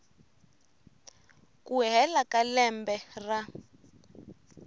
ku hela ka lembe ra